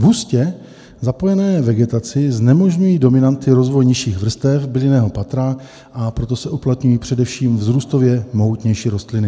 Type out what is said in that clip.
V hustě zapojené vegetaci znemožňují dominanty rozvoj nižších vrstev bylinného patra, a proto se uplatňují především vzrůstově mohutnější rostliny.